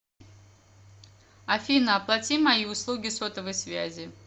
афина оплати мои услуги сотовой связи